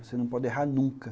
Você não pode errar nunca.